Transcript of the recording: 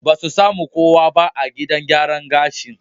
Ba su sami kowa ba a gidan gyaran gashin.